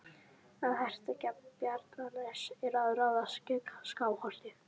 Að hertaka Bjarnanes er að ráðast gegn Skálholti.